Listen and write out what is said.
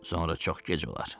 Sonra çox gec olar.